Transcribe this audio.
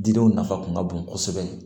Didenw nafa kun ka bon kosɛbɛ